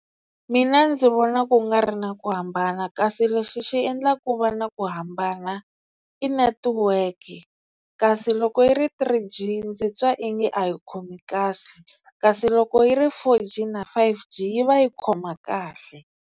Mina ndzi vona ku nga ri na ku hambana kasi lexi xi endlaka ku va na ku hambana i network kasi loko yi ri three G ndzi twa ingi a yi khomi kasi kasi loko yi ri four G na five G yi va yi khoma kahle.